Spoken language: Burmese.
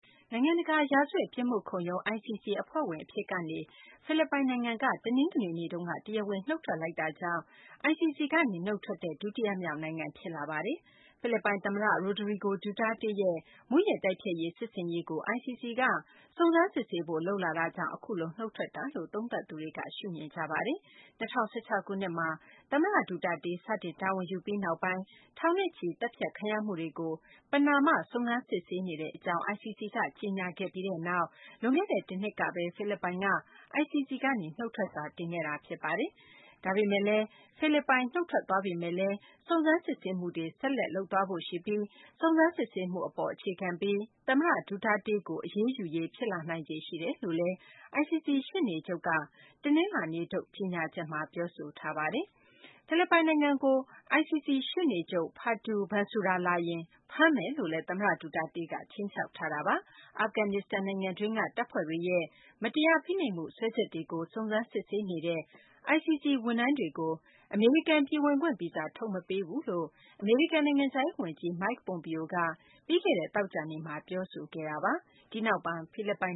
နိုင်ငံတကာ ရာဇဝတ် ပြစ်မှုခုံရုံး ICC အဖွဲ့ဝင် အဖြစ်ကနေ ဖိလစ်ပိုင် နိုင်ငံက တနင်္ဂနွေနေ့ မှာ နုတ်ထွက်လိုက်တာကြောင့် ICC က နေ နုတ်ထွက်တဲ့ ဒုတိယမြောက် နိုင်ငံ ဖြစ်လာပါတယ်။ ဖိလစ်ပိုင် သမ္မတ Rodrigo Duterte ရဲ့ မူးယစ်တိုက်ဖျက်ရေး စစ်ဆင်ရေးကို ICC က စုံစမ်းစစ်ဆေးဖို့ လုပ်လာတာကြောင့် အခုလို နုတ်ထွက်တာလို့ သုံးသပ်သူတွေက ရှုမြင်ကြပါတယ်။ ၂၀၁၆ ခုနှစ်မှာ သမ္မတ ဒူတာတေး စတင်တာဝန်ယူပြီးနောက်ပိုင်း ထောင်နဲ့ချီ သတ်ဖြတ်ခံရမှုတွေကို ပဏာမ စုံစမ်းစစ်ဆေးနေကြောင်း ICC က ကြေညာခဲ့ပြီးနောက် လွန်ခဲ့တဲ့ တနှစ်က ဖိလစ်ပိုင်က ICC ကနေ နုတ်ထွက်စာ တင်ခဲ့တာပါ။ ICC ကနေ ဖိလစ်ပိုင် နုတ်ထွက်သွားပေမယ်လို့လည်း စုံစမ်းစစ်ဆေးမှုကို ဆက်လုပ်မှာ ဖြစ်ပြီး စုံစမ်းစစ်ဆေးမှု အပေါ် အခြေခံပြီး သမ္မတ Duterte ကို အရေးယူရေး ဖြစ်လာနိုင်ခြေရှိတယ်လို့လည်း ICC ရှေ့နေချုပ် Fatou Bensouda က တနလာၤနေ့ထုတ် ကြေညာချက်မှာ ပြောဆိုထားပါတယ်။ ဖိလစ်ပိုင် နိုင်ငံကို ICC ရှေ့နေချုပ် Fatou Bensouda လာရင် ဖမ်းမယ်လို့လည်း သမ္မတ Duterte က ခြိမ်းခြောက်ထားတာပါ။ အာဖဂန်နစ္စတန်နိုင်ငံတွင်းက တပ်ဖွဲ့တွေရဲ့ မတရားဖိနှိပ်မှု စွဲချက်တွေကို စုံစမ်းစစ်ဆေးနေတဲ့ ICC ဝန်ထမ်းတွေကို အမေရိကန် ပြည်ဝင်ခွင့်ဗီဇာ ထုတ်မပေးဘူးလို့ နိုင်ငံခြားရေး ဝန်ကြီး Mike Pompeo က ပြီးခဲ့တဲ့ သောကြာနေ့မှာ ပြောဆိုခဲ့တာပါ။ ဒီနောက် တနင်္ဂနွေနေ့မှာ ဖိလစ်ပိုင်